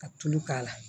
Ka tulu k'a la